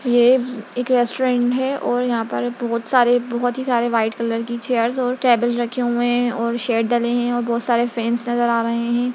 ये एक रेस्टोरेंट है और यहाँ पर बहोत सारे बहोत ही सारी कलर की चेरस और टेबल रखी हुई है और शेड डाले हैं और बहोत सारे फेनस नजर आ रहे हैं।